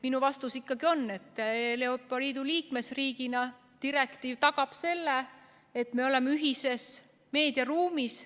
Minu vastus on, et Eestile kui Euroopa Liidu liikmesriigile tagab direktiiv selle, et me oleme ühises meediaruumis.